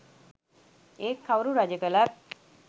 ඒත් කවුරු රජ කලත්